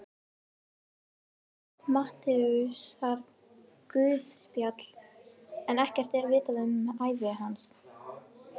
Við hann er kennt Matteusarguðspjall en ekkert er vitað um ævi hans.